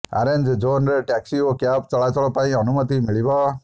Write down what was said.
orange ଜୋନ୍ରେ taxi ଓ cab ଚଳାଚଳ ପାଇଁ ଅନୁମତି ମିଳିବ